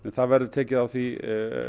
það verður tekið á því